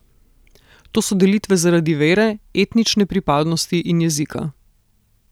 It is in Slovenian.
To so delitve zaradi vere, etnične pripadnosti in jezika.